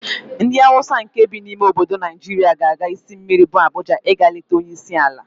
Ndị Hausa nkè bi n'ime obodo Naịjirịa ga-aga isi mmiri bu Abuja ịga leta onyeisiala.